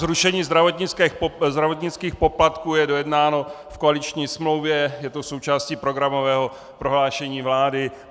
Zrušení zdravotnických poplatků je dojednáno v koaliční smlouvě, je to součástí programového prohlášení vlády.